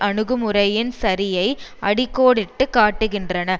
அணுகுமுறையின் சரியை அடிக் கோடிட்டு காட்டுகின்றன